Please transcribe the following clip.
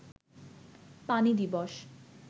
পানি দিবস